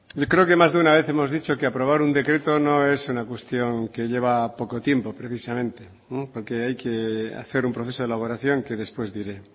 yo creo que más de una vez hemos dicho que aprobar un decreto no es una cuestión que lleva poco tiempo precisamente porque hay que hacer un proceso de elaboración que después diré